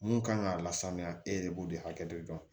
Mun kan ka lasamiya e de b'o de hakɛ dɔ